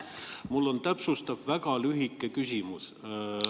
Mul on täpsustav, väga lühike küsimus.